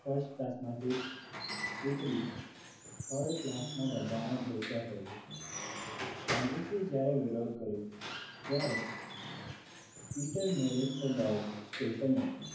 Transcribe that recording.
first class માંથી ઉતરી third class ના ડબ્બામાં બેસવા કહ્યું ગાંધીજીએ જ્યારે વિરોધ કર્યો ત્યારે મીટર berister વર્ગ station એ